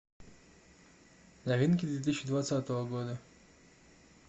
новинки две тысячи двадцатого года